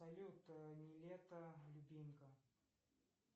салют нилетто любимка